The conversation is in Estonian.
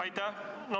Aitäh!